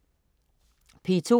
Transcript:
P2: